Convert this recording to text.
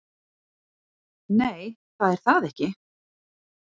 """Nei, það er það ekki."""